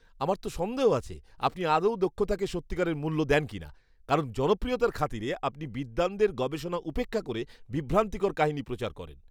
আমার তো সন্দেহ আছে আপনি আদৌ দক্ষতাকে সত্যিকারের মূল্য দেন কিনা, কারণ জনপ্রিয়তার খাতিরে আপনি বিদ্বানদের গবেষণা উপেক্ষা করে বিভ্রান্তিকর কাহিনী প্রচার করেন।